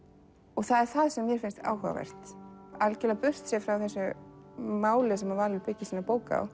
og það er það sem mér finnst áhugavert algjörlega burtséð frá þessu máli sem Valur byggir sína bók á